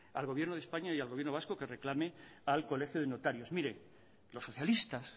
al gobierno de españa y al gobiernos vasco que reclame al colegio de notarios mire los socialistas